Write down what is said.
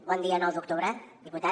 bon dia nou d’octubre diputat